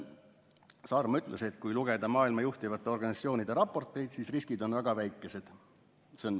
Saarma ütles nimelt, et kui lugeda maailma juhtivate organisatsioonide raporteid, siis riskid on väga väikesed.